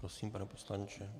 Prosím, pane poslanče.